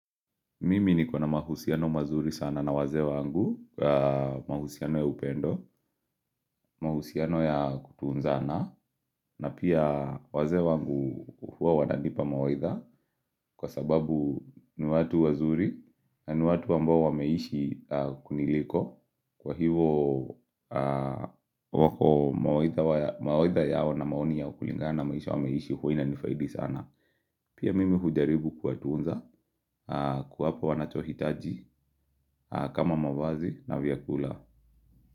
Mimi nikona mahusiano mazuri sana na wazee wangu, mahusiano ya upendo, mahusiano ya kutunzana, na pia wazee wangu huwa wananipa mawaidha kwa sababu ni watu wazuri na ni watu ambao wameishi kuniliko. Kwa hivo wako mawaidha yao na maoni yao kulingana maisha wameishi huwa inanifaidi sana Pia mimi hujaribu kwa tunza kuwapa wanachohitaji kama mavazi na vyakula.